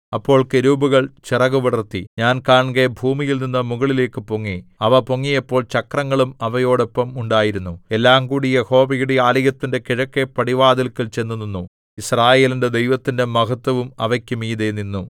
അപ്പോൾ കെരൂബുകൾ ചിറകുവിടർത്തി ഞാൻ കാൺകെ ഭൂമിയിൽനിന്നു മുകളിലേക്കുപൊങ്ങി അവ പൊങ്ങിയപ്പോൾ ചക്രങ്ങളും അവയോടൊപ്പം ഉണ്ടായിരുന്നു എല്ലാംകൂടി യഹോവയുടെ ആലയത്തിന്റെ കിഴക്കെ പടിവാതില്ക്കൽ ചെന്നുനിന്നു യിസ്രായേലിന്റെ ദൈവത്തിന്റെ മഹത്ത്വവും അവയ്ക്കു മീതെ നിന്നു